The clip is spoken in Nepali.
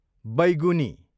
बैगुनी